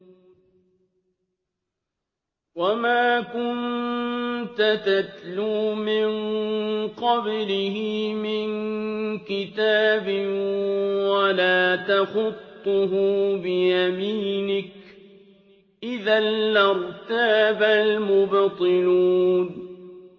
وَمَا كُنتَ تَتْلُو مِن قَبْلِهِ مِن كِتَابٍ وَلَا تَخُطُّهُ بِيَمِينِكَ ۖ إِذًا لَّارْتَابَ الْمُبْطِلُونَ